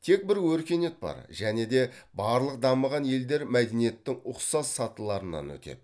тек бір өркениет бар және де барлық дамыған елдер мәдениеттің ұқсас сатыларынан өтеді